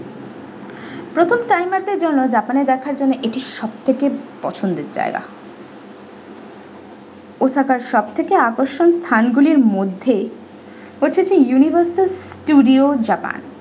প্রথম timer দের জন্য japan এ দেখার জন্য এটি সবথেকে পছন্দের জায়গা osaka এর সব থেকে আকর্ষণীয় স্থানগুলির মধ্যে হচ্ছে যে universal studio japan ।